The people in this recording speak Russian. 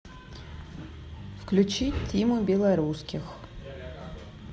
включи тиму белорусских